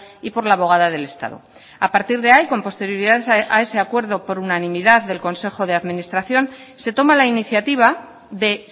y por la abogada del estado a partir de ahí con posterioridad a ese acuerdo por unanimidad del consejo de administración se toma la iniciativa de